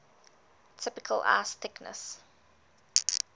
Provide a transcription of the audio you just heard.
typical ice thickness